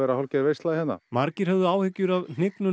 hálfgerð veisla hérna margir höfðu áhyggjur af hnignun